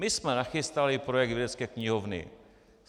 My jsme nachystali projekt vědecké knihovny.